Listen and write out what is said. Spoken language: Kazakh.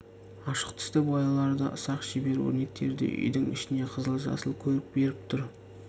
ашық түсті бояулары да ұсақ шебер өрнектері де үйдің ішіне қызыл жасыл көрік беріп тұр